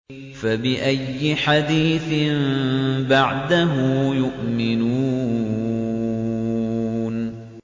فَبِأَيِّ حَدِيثٍ بَعْدَهُ يُؤْمِنُونَ